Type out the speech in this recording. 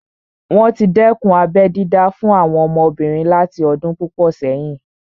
Wọ́n tí dẹ́kun abẹ́ dídá fún àwọn ọmọbìnrin láti ọdún púpọ̀ sẹ́yìn